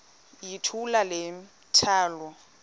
yithula le mithwalo